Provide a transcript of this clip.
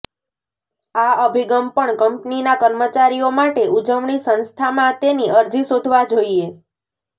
આ અભિગમ પણ કંપનીના કર્મચારીઓ માટે ઉજવણી સંસ્થામાં તેની અરજી શોધવા જોઈએ